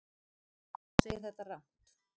Hún segir þetta rangt.